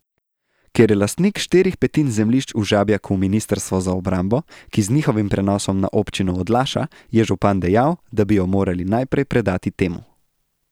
Ker je lastnik štirih petin zemljišč v Žabjaku ministrstvo za obrambo, ki z njihovim prenosom na občino odlaša, je župan dejal, da bi jo morali najprej predati temu.